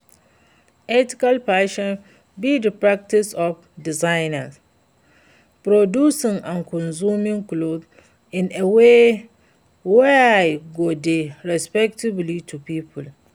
ethical fashion be di practice of designing, producing and consuming clothing in a way wey go dey respectful to people.